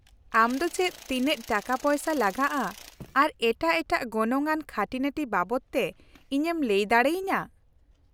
-ᱟᱢ ᱫᱚ ᱪᱮᱫ ᱛᱤᱱᱟᱹᱜ ᱴᱟᱠᱟᱯᱚᱭᱥᱟ ᱞᱟᱜᱟᱜᱼᱟ ᱟᱨ ᱮᱴᱟᱜ ᱮᱴᱟᱜ ᱜᱚᱱᱚᱝ ᱟᱱ ᱠᱷᱟᱹᱴᱤᱱᱟᱹᱴᱤ ᱵᱟᱵᱚᱫ ᱛᱮ ᱤᱧᱮᱢ ᱞᱟᱹᱭ ᱫᱟᱲᱮᱭᱟᱹᱧᱟᱹ ?